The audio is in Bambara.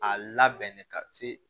A labɛn de ka se